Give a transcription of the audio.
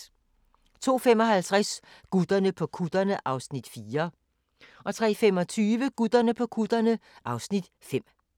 02:55: Gutterne på kutterne (Afs. 4) 03:25: Gutterne på kutterne (Afs. 5)